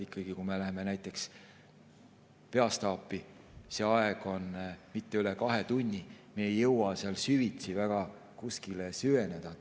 Kui me läheme näiteks peastaapi, siis see aeg on mitte üle kahe tunni ja me ei jõua kuskile süveneda.